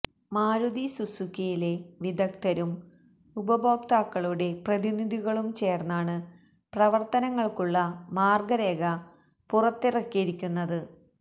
മാരുതി സുസുക്കിയിലെ വിദഗ്ധരും ഉപയോക്താകളുടെ പ്രതിനിധികളും ചേര്ന്നാണ് പ്രവര്ത്തനങ്ങള്ക്കുള്ള മാര്ഗരേഖ പുറത്തിറക്കിയിരിക്കുന്നത്